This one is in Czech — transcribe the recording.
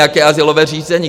Jaké azylové řízení?